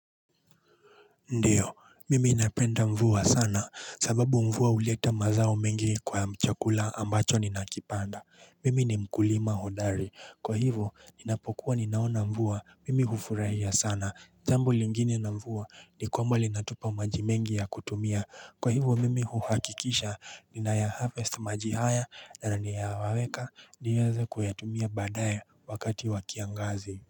Ndiyo mimi napenda mvua sana sababu mvua huleta mazao mengi kwa chakula ambacho ninakipanda mimi ni mkulima hodari kwa hivo ninapokuwa ninaona mvua mimi hufurahia sana jambpo lingine na mvua ni kwamba linatupa majimengi ya kutumia kwa hivo mimi huhakikisha ni naya harvest maji na ninayawaweka niweza kuyatumia baadaye wakati wa kiangazi.